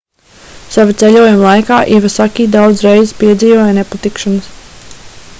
sava ceļojuma laikā ivasaki daudz reizes piedzīvoja nepatikšanas